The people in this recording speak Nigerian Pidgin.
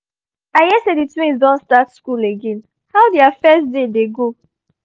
i hear say the twins don start school again — how their first day dey go?